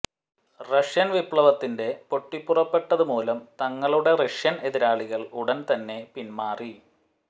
Russian വിപ്ലവത്തിന്റെ പൊട്ടിപ്പുറപ്പെട്ടതു മൂലം തങ്ങളുടെ റഷ്യൻ എതിരാളികൾ ഉടൻതന്നെ പിൻമാറി